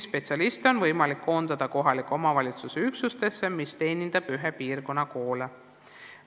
Neid on võimalik koondada kohaliku omavalitsuse üksustesse, mis teenindavad ühe piirkonna koole.